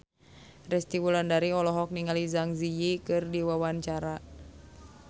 Resty Wulandari olohok ningali Zang Zi Yi keur diwawancara